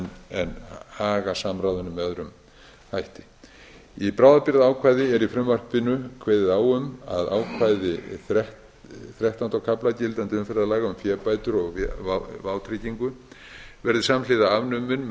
en haga samráðinu með öðrum hætti í frumvarpinu er kveðið á um að ákvæði þrettánda kafla gildandi umferðarlaga um fébætur og vátryggingu verði samhliða afnumin með það